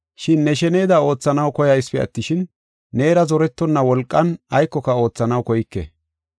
Shin ne sheneda oothanaw koyasipe attishin, neera zorettonna wolqan aykoka oothanaw koyke.